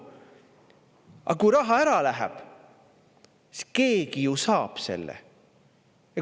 Aga kui raha ära läheb, siis keegi ju saab selle.